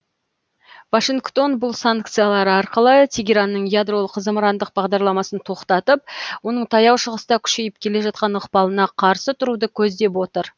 вашингтон бұл санкциялары арқылы тегеранның ядролық зымырандық бағдарламасын тоқтатып оның таяу шығыста күшейіп келе жатқан ықпалына қарсы тұруды көздеп отыр